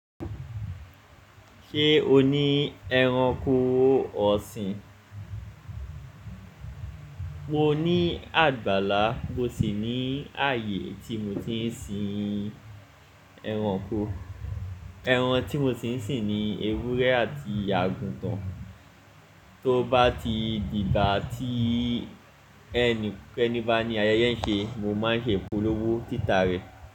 Ṣé o ní ẹranko ọ̀sìn? Mo ní àgbàlá, mo sì ní ààyè tí mo ti ń sin ẹranko. Ẹran tí mo ti ń sìn ni ewúrẹ́ àti àgùntàn, to bá ti dìgbà tí ẹni bá ní ayẹyẹ ń ṣe, mo máa ń ṣe púlówó títa rẹ̀